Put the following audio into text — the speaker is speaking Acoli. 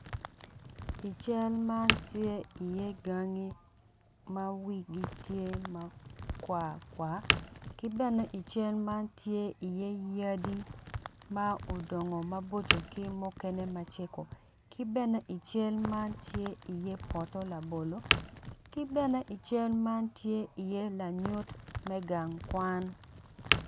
I cal ma tye iye gangi ma wigi tye ma kwarkwar ki bene tye iye yadi ma odongo maboco ki mukene macego ki bene i cal man tye iye poto labolo ki bene i cal man tye iye lanyut me gang kwan.